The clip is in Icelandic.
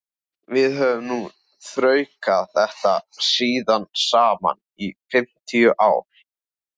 Við höfum nú þraukað þetta síðan saman í fimmtíu ár.